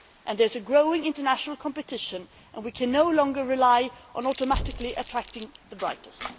There is growing international competition and we can no longer rely on automatically attracting the brightest.